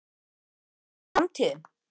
Er þetta framtíðin?